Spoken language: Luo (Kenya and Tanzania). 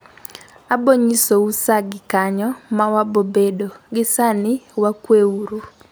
Abonyiso u saa gi kanyo mawabobedo, gi sani wakwe uru